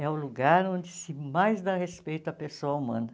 É o lugar onde se mais dá respeito à pessoa humana.